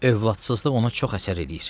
Övladsızlıq ona çox əsər eləyir.